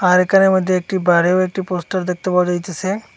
আর এখানের মধ্যে একটি বারেও একটি পোস্টার দেখতে পাওয়া যাইতেসে।